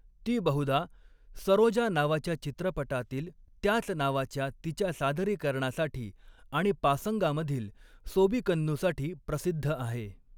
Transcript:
ती बहुधा, सरोजा नावाच्या चित्रपटातील त्याच नावाच्या तिच्या सादरीकरणासाठी आणि पासंगामधील सोबीकन्नूसाठी प्रसिद्ध आहे.